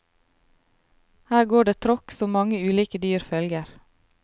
Her går det tråkk som mange ulike dyr følger.